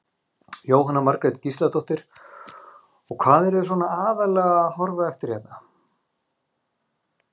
Jóhanna Margrét Gísladóttir: Og hvað eruð þið svona aðallega að horfa eftir hérna?